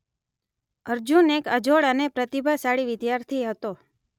અર્જુન એક અજોડ અને પ્રતિભાશાળી વિદ્યાર્થી હતો